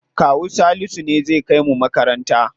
Kawu Salisu ne zai kai mu makaranta.